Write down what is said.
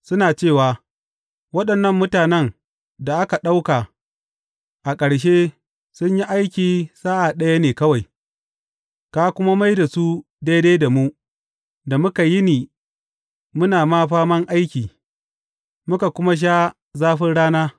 Suna cewa, Waɗannan mutanen da aka ɗauka a ƙarshe sun yi aikin sa’a ɗaya ne kawai, ka kuma mai da su daidai da mu da muka yini muna faman aiki, muka kuma sha zafin rana.’